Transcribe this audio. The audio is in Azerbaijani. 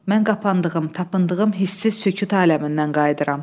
Mən qapandığım, tapındığım hisssiz sükut aləmindən qayıdıram.